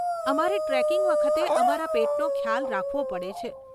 અમારે ટ્રેકિંગ વખતે અમારા પેટનો ખ્યાલ રાખવો પડે છે.